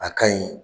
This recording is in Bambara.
A ka ɲi